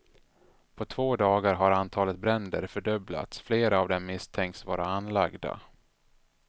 På två dagar har antalet bränder fördubblats, flera av dem misstänks vara anlagda.